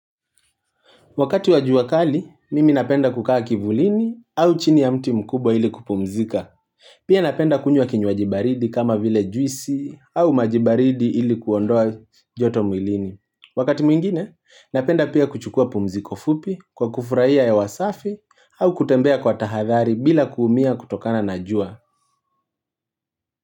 Wakati wajua kali, mimi napenda kukaa kivulini au chini ya mti mkubwa ili kupumzika. Pia napenda kunywa kinywaji baridi kama vile juisi au maji baridi ili kuondoa joto mwilini. Wakati mwingine, napenda pia kuchukua pumziko fupi kwa kufurahia hewa safi au kutembea kwa tahadhari bila kuumia kutokana na jua.